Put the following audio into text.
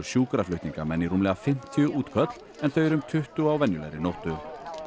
sjúkraflutningamenn í rúmlega fimmtíu útköll en þau eru um tuttugu á venjulegri nóttu